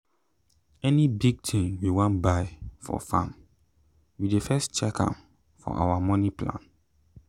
any big thing we wan buy for farm we dey first check am for our moni plan.